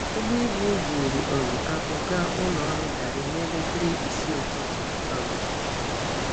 Ụgbọ ibu buru um akpụ gaa ụlọ ọrụ garri na-elekere isii ụtụtụ. um